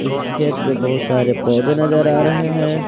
खेत में बहुत सारे पौधे नजर आ रहे हैं।